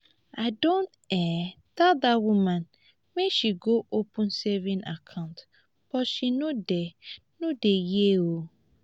i don um tell dat woman make she go open saving account but she no dey no dey hear um